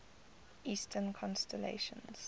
eastern constellations